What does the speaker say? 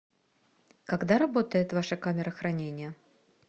когда работает ваша камера хранения